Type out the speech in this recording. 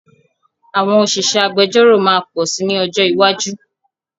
Àwọn òṣìṣẹ́ agbẹjọ́ró máa pọ̀ sí ní ọjọ́ iwájú